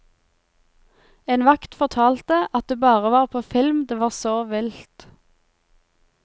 En vakt fortalte, at det bare var på film det var så vilt.